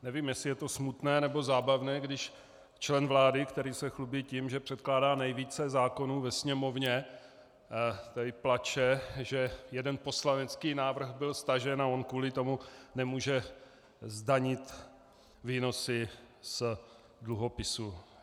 Nevím, jestli je to smutné, nebo zábavné, když člen vlády, který se chlubí tím, že předkládá nejvíce zákonů ve Sněmovně, tady pláče, že jeden poslanecký návrh byl stažen a on kvůli tomu nemůže zdanit výnosy z dluhopisů.